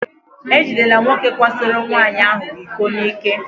E jidela nwoke kwasoro nwaanyị ahụ iko n'ike.